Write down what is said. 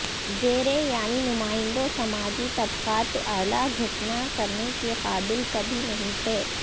زیریں یعنی نمائندوں سماجی طبقات اعلی گھسنا کرنے کے قابل کبھی نہیں تھے